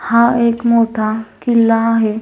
हा एक मोठा किल्ला आहे.